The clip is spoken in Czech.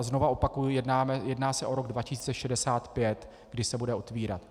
A znova opakuji, jedná se o rok 2065, kdy se bude otevírat.